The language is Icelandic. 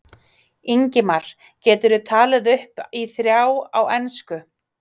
Ingimar: Geturðu talið upp í þrjá á ensku?